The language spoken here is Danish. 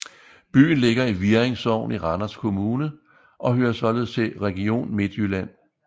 Byen ligger i Virring Sogn i Randers Kommune og hører således til Region Midtjylland